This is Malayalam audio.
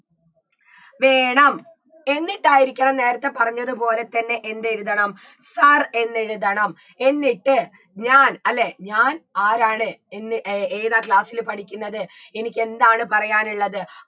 വേണം എന്നിട്ടായിരിക്കണം നേരത്തെ പറഞ്ഞത് പോലെ തന്നെ എന്തെഴുതണം sir എന്നെഴുതണം എന്നിട്ട് ഞാൻ അല്ലേ ഞാൻ ആരാണ് എന്ന് എ ഏതാ class ല് പഠിക്ക്ന്നത് എനിക്ക് എന്താണ് പറയാനുള്ളത്